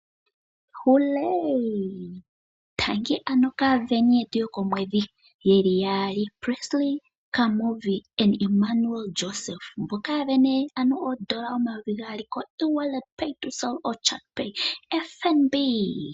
Tangi ano kaasindani yetu yokomwedhi ye li yaali Presley Kamuvi naImmanuel Joseph, mboka ya sindana ano oondola omayovi gaali koEwallet pay2cell nenge Chatpay koFNB.